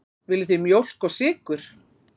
Viljið þið mjólk og sykur?